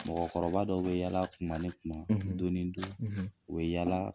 Mɔgɔkɔrɔba dɔw bɛ yalaa tuma ni tuma don ni don u bɛ yala